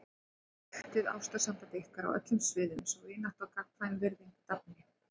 Ræktið ástarsamband ykkar á öllum sviðum svo vinátta og gagnkvæm virðing dafni.